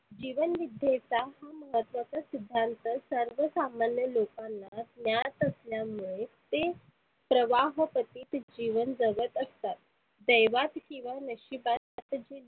जीवन विद्येचा अर्थाचा सिद्धांत सर्वसामान्य लोकांना ज्ञात असल्यामुळे ते प्रवाह पती जीवन जगत असतात. दैवात नशिबात